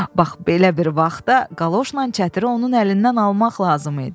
Bax belə bir vaxtda qaloşla çətiri onun əlindən almaq lazım idi.